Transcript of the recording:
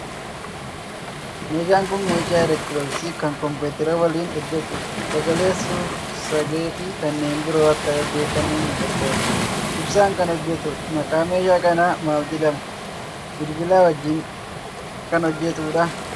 Meeshaan kun meeshaa elektirooniksii kan kompiitara waliin hojjetudha. Sagalee, suur sagee fi kanneen biroo akka dhaggeeffannuuf nu gargaara. Ibsaan kan hojjetudha. Maqaan meeshaa kanaa maal jedhama? Bilbila wajjin kan hojjetudhaa?